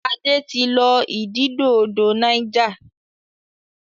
Ade tí lọ ididò odò Niger.